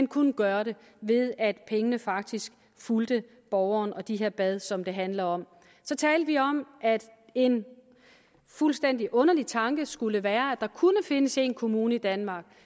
kunne gøre det ved at pengene faktisk fulgte borgeren og de her bade som det handler om så talte vi om at en fuldstændig underlig tanke skulle være at der kunne findes en kommune i danmark